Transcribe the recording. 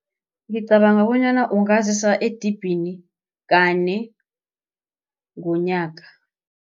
Ngicabanga bonyana ungazisa edibhini kane ngonyaka.